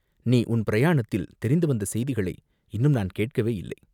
நீ உன் பிரயாணத்தில் தெரிந்து வந்த செய்திகளை இன்னும் நான் கேட்கவே இல்லை.